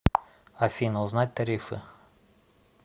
афина узнать тарифы